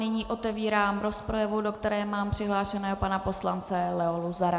Nyní otevírám rozpravu, do které mám přihlášeného pana poslance Leo Luzara.